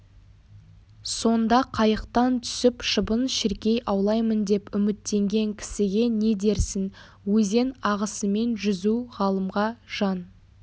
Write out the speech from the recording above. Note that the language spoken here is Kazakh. сонда қайықтан түсіп шыбын-шіркей аулаймын деп үміттенген кісіге не дерсін өзен ағысымен жүзу ғалымға жан